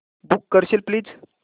book करशील please